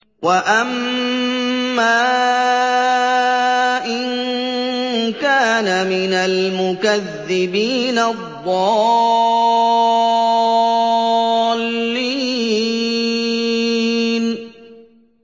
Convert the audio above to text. وَأَمَّا إِن كَانَ مِنَ الْمُكَذِّبِينَ الضَّالِّينَ